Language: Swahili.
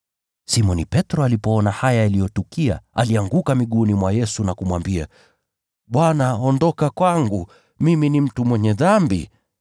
Simoni Petro alipoona haya yaliyotukia, alianguka miguuni mwa Yesu na kumwambia, “Bwana, ondoka kwangu. Mimi ni mtu mwenye dhambi!”